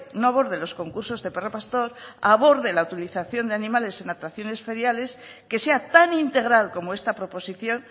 no aborde los concursos de perro pastor aborde la utilización de animales en atracciones feriales que sea tan integral como esta proposición